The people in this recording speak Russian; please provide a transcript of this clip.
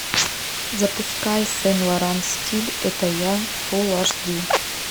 запускай сен лоран стиль это я фул аш ди